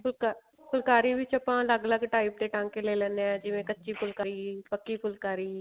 ਫੁਲ੍ਕਰੀ ਵਿੱਚ ਆਪਾਂ ਅਲੱਗ ਅਲੱਗ ਤਰ੍ਹਾਂ ਦੇ ਟਾਂਕੇ ਲੈ ਲੈਣੇ ਹਾਂ ਜਿਵੇਂ ਪੱਕੀ ਫੁਲਕਾਰੀ ਕੱਚੀ ਫੁਲਕਾਰੀ